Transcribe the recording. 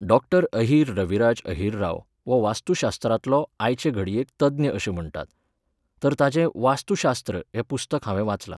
Doctor Ahir Raviraj Ahirrao हो वास्तुशास्त्रांतलो आयचे घडयेक तज्ञ अशें म्हणटात. तर ताचें वास्तूशास्त्र हें पुस्तक हांवें वाचलां.